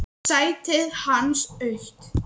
Sætið hans autt.